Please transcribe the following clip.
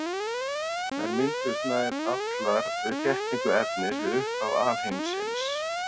Þær mynduðust nær allar við þéttingu efnis við upphaf alheimsins.